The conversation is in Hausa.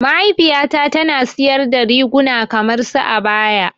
Mahaifiya ta tana siyar da riguna kamar su abaya.